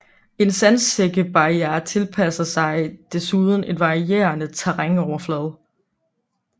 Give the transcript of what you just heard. En sandsækkebarriere tilpasser sig desuden en varierende terrænoverflade